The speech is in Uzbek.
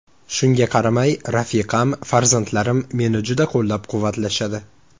Shunga qaramay, rafiqam, farzandlarim meni juda qo‘llab-quvvatlashadi.